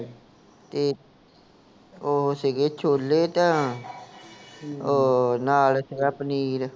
ਤੇ ਓਹੋ ਸੀਗੇ, ਛੋਲੇ ਤਾਂ ਓਹ ਨਾਲ ਸੀਗਾ ਪਨੀਰ